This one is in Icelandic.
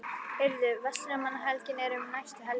Heyrðu, Verslunarmannahelgin er um næstu helgi.